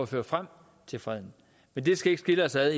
føre frem til freden men det skal ikke skille os ad